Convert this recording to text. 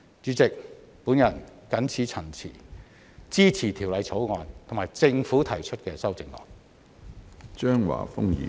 主席，我謹此陳辭，支持《條例草案》及政府提出的修正案。